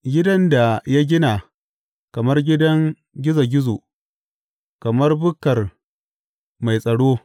Gidan da ya gina kamar gidan gizo gizo, kamar bukkar mai tsaro.